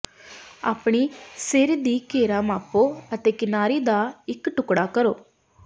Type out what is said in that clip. ਆਪਣੇ ਸਿਰ ਦੀ ਘੇਰਾ ਮਾਪੋ ਅਤੇ ਕਿਨਾਰੀ ਦਾ ਇੱਕ ਟੁਕੜਾ ਕੱਟੋ